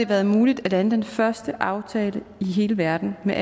været muligt at lande den første aftale i hele verden med